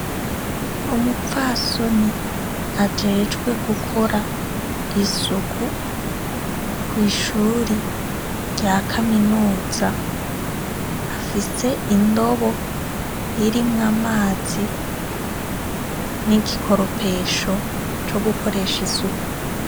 Umupfasoni ajejwe gukora isuku kwishure rya kaminuza, afise indobo irimwo amazi n' igikoropesho co gukoresha isuku.